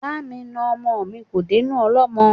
Bá mi na ọmọ mi kò dénú ọlọ́mọ́.